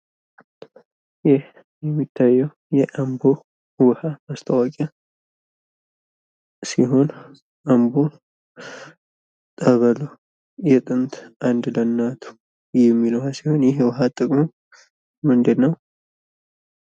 ይህ የሚታየው የአንቦ ውሃ ማስታወቂያ ሲሆን አንቦ ጠበሉ የጥንት አንድ ለእናቱ የሚል ሲሆን ይህ ውሃ ጥቅሙ ምንድን ነው?